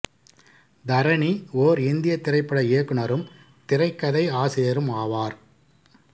தரணி ஓர் இந்தியத் திரைப்பட இயக்குனரும் திரைக்கதை ஆசிரியரும் ஆவார்